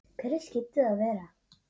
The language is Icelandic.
Hverjir skyldu það vera?